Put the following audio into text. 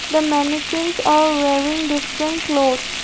the maniquels are wearing different clothes.